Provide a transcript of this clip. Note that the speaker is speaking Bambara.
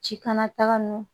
Ci kana taga n'o